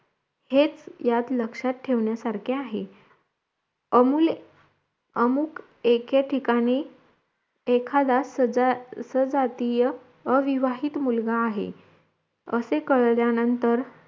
हेच ह्यात लक्ष्यात ठेवान्यासारखे आहेत अमुल्य आमुख एके ठिकाणी एखादा सदर सहजातीय अविवाहित मुलगा आहे असे काळल्या नंतर